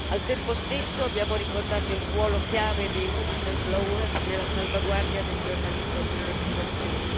Al tempo stesso, abbiamo ricordato il ruolo chiave dei whistleblower nella salvaguardia del giornalismo di investigazione.